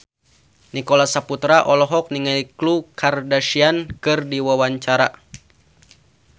Nicholas Saputra olohok ningali Khloe Kardashian keur diwawancara